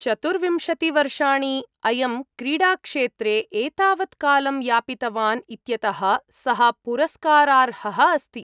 चतुर्विंशति वर्षाणि.. अयं क्रीडाक्षेत्रे एतावत् कालं यापितवान् इत्यतः सः पुरस्कारार्हः अस्ति।